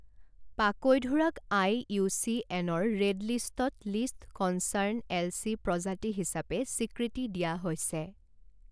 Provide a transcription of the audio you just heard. পাকৈঢোৰাক আইইউচিএনৰ ৰেড লিষ্টত least concern এলচি প্ৰজাতি হিচাপে স্বীকৃতি দিয়া হৈছে।